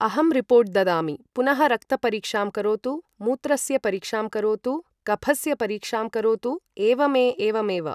अहं रिपोर्ट् ददामि पुनः रक्तपरीक्षां करोतु मूत्रस्य परीक्षां करोतु कफस्य परीक्षां करोतु एवमे एवमेव ।